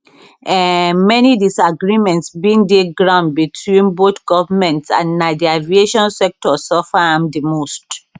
um many disagreements bin dey ground between both goments and na di aviation sector suffer am di most